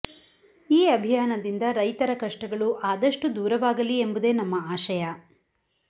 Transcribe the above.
ಈ ಅಭಿಯಾನದಿಂದ ರೈತರ ಕಷ್ಟಗಳು ಅದಷ್ಟು ದೂರವಾಗಲಿ ಎಂಬುದೇ ನಮ್ಮ ಆಶಯ